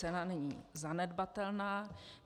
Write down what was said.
Cena není zanedbatelná.